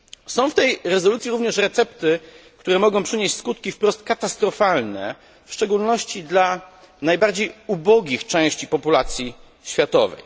Są w tej rezolucji również recepty, które mogą przynieść skutki wprost katastrofalne, w szczególności dla najbardziej ubogich części populacji światowej.